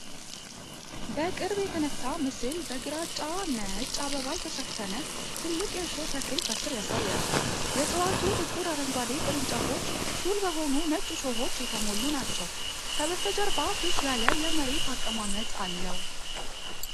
በቅርብ የተነሳው ምስል በግራጫ-ነጭ አበባ የተሸፈነ ትልቅ የእሾህ ተክል ከስር ያሳያል። የእጽዋቱ ጥቁር አረንጓዴ ቅርንጫፎች ሹል በሆኑ ነጭ እሾሆች የተሞሉ ናቸው። ከበስተጀርባ ብዥ ያለ የመሬት አቀማመጥ አለው።